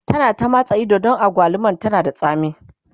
ta na ta matsa Ido Dan agwalumar tana da tsami